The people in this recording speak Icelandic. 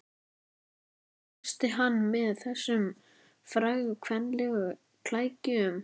Hún klófesti hann með þessum frægu kvenlegu klækjum, sagði